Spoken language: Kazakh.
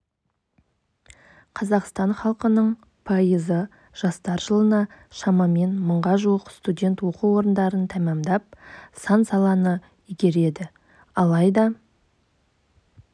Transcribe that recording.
қазақстан халқының пайызы жастар жылына шамамен мыңға жуық студент оқу орындарын тәмамдап сан саланы игереді алайда